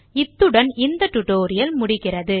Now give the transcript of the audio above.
இத்துடன் இந்த spoken tutorial முடிகிறது